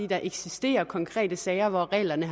der eksisterer konkrete sager hvor reglerne